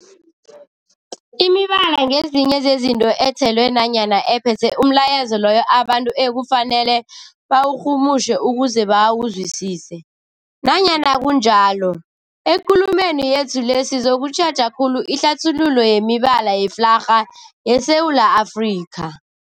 Imibala ngezinye zezinto ethelwe nanyana ephethe umlayezo loyo abantu ekufanele bawurhumutjhe ukuze bawuzwisise. Nanyana kunjalo, ekulumeni yethu le sizokutjheja khulu ihlathululo yemibala yeflarha yeSewula Afrika.